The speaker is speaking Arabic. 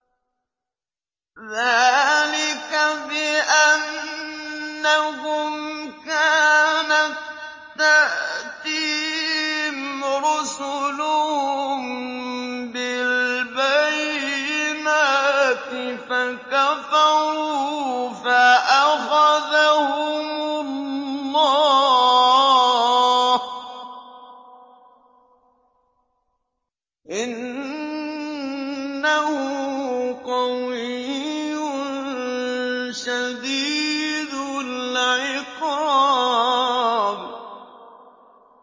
ذَٰلِكَ بِأَنَّهُمْ كَانَت تَّأْتِيهِمْ رُسُلُهُم بِالْبَيِّنَاتِ فَكَفَرُوا فَأَخَذَهُمُ اللَّهُ ۚ إِنَّهُ قَوِيٌّ شَدِيدُ الْعِقَابِ